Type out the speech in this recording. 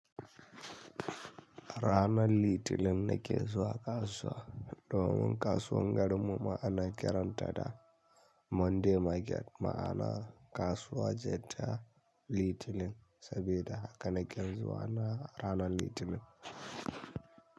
Ranar Litinin ne ke zuwa kasuwa. Domin kasuwar garin mu ma'ana kiran ta da Monday market. Ma'ana kasuwa jeta Litinin saboda haka naken zuwa na ranar Litinin.